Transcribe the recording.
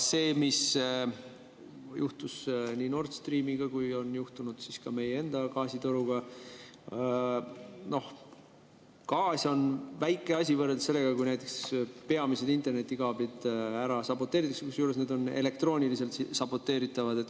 See, mis juhtus nii Nord Streamiga kui on juhtunud ka meie enda gaasitoruga – noh, gaas on väike asi võrreldes sellega, kui näiteks peamised internetikaablid ära saboteeritakse, kusjuures need on elektrooniliselt saboteeritavad.